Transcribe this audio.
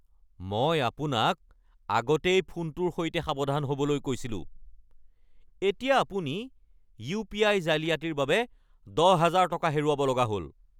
মই আপোনাক আগতেই ফোনটোৰ সৈতে সাৱধান হ'বলৈ কৈছিলো। এতিয়া আপুনি ইউপিআই জালিয়াতিৰ বাবে দহ হাজাৰ টকা হেৰুৱাব লগা হ'ল।